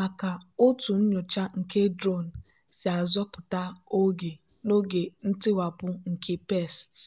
maka otú nyocha nke drone si azọpụta oge n'oge ntiwapụ nke pests.